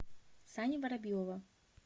сани воробьева